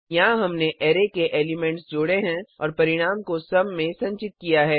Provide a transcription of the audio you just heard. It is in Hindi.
यहाँ हमने अरै के एलिमेंट्स जोड़े हैं और परिणाम को सुम में संचित किया है